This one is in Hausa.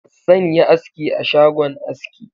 Zan yi aski a shgon aski.